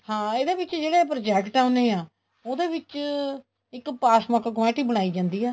ਹਾਂ ਇਹਦੇ ਵਿੱਚ ਜਿਹੜੇ project ਆਉਦੇ ਏ ਉਹਦੇ ਵਿੱਚ ਇੱਕ pass book ਕਮੇਟੀ ਬਣਾਈ ਜਾਂਦੀ ਆ